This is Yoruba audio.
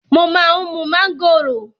Mo má ń mú mángòrò.